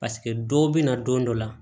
Paseke dɔw bɛ na don dɔ la